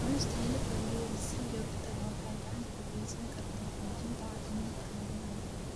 Cunista hilibka geela si joogto ah waxay gacan ka geysan kartaa hagaajinta caafimaadka wadnaha